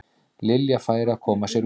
Lilja færi að koma sér út.